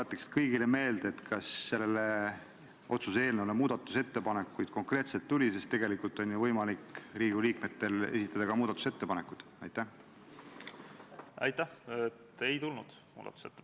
Esiteks otsustati esitada eelnõu teiseks lugemiseks Riigikogu tänase istungi päevakorda, teiseks tehakse Riigikogule ettepanek eelnõu teine lugemine lõpetada ning Riigikogu kodu- ja töökorra seaduse §-le 109 tuginedes panna eelnõu lõpphääletusele ja Riigikogu otsusena vastu võtta.